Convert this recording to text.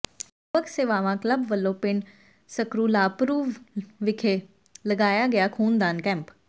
ਯੁਵਕ ਸੇਵਾਵਾਂ ਕਲੱਬ ਵਲੋਂ ਪਿੰਡ ਸਕਰੂਲਾਪਰੁ ਵਿਖੇ ਲਗਾਇਆ ਗਿਆ ਖੂਨਦਾਨ ਕੈਂਪ